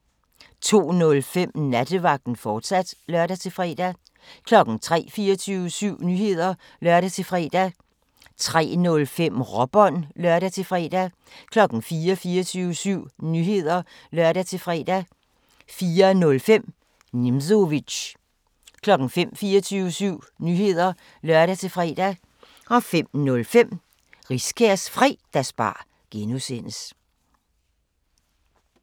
02:05: Nattevagten, fortsat (lør-fre) 03:00: 24syv Nyheder (lør-fre) 03:05: Råbånd (lør-fre) 04:00: 24syv Nyheder (lør-fre) 04:05: Nimzowitsch 05:00: 24syv Nyheder (lør-fre) 05:05: Riskærs Fredagsbar (G)